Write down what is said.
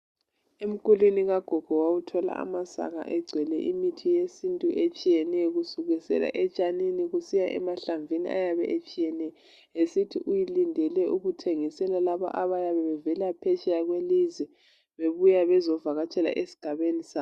Emkulwini kagogo wawuthola amasaka egcwele imithi yesintu etshiyeneyo kusukisela etshanini kusiya emahlamvini ayabe etshiyene esithi ulindele ukuthengisela labo abayabe bevela phetsheya kwelizwe bebuya bezovakatshela esigabeni sabo.